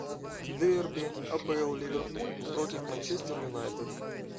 дерби апл ливерпуль против манчестер юнайтед